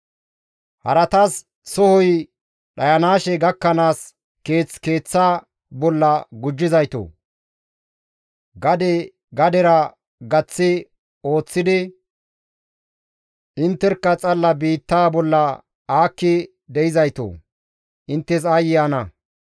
Haratas sohoy dhayanaashe gakkanaas, keeth keeththa bolla gujjizaytoo! Gade gadera gaththi oyththidi, intterkka xalla biittaa bolla aakki de7izaytoo! Inttes aayye ana!